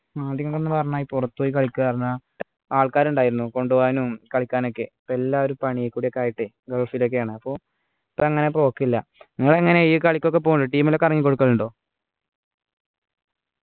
അത് നിങ്ങളന്നു പറഞ്ഞു പുറത്തുപോയി കളിക്കാർന്ന ആൾക്കാർ ഉണ്ടായിരുന്നു കൊണ്ടുപോകാനും കളിക്കാനൊക്കെ ഇപ്പൊ എല്ലാരും പണിയൊക്കെ കൂടി ആയിട്ടേ ഗഫിലൊക്കെ ആണ് അപ്പൊ ഇപ്പോ അങ്ങനെ പോക്കില്ല നിങ്ങളെങ്ങനെ ഈ കാളിക്കൊക്കെ പോകോ team ലൊക്കെ ഇറങ്ങി കൊടുക്കലുണ്ടോ